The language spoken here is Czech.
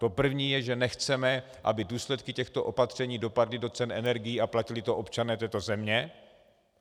To první je, že nechceme, aby důsledky těchto opatření dopadly do cen energií a platili to občané této země.